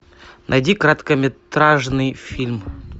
найди короткометражный фильм